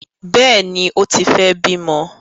Bẹẹni, o tí fẹ bimọ